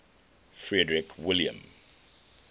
frederick william